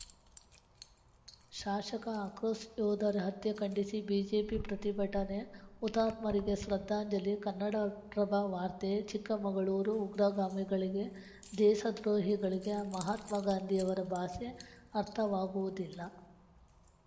ಶಾಶಕ ಆಕ್ರೋಶ ಯೋಧರ ಹತ್ಯೆ ಖಂಡಿಸಿ ಬಿಜೆಪಿ ಪ್ರತಿಭಟನೆ ಹುತಾತ್ಮರಿಗೆ ಶ್ರದ್ಧಾಂಜಲಿ ಕನ್ನಡಪ್ರಭ ವಾರ್ತೆ ಚಿಕ್ಕಮಗಳೂರು ಉಗ್ರಗಾಮಿಗಳಿಗೆ ದೇಸ ದ್ರೋಹಿಗಳಿಗೆ ಮಹಾತ್ಮಗಾಂಧಿಯವರ ಭಾಷೆ ಅರ್ಥವಾಗುವುದಿಲ್ಲ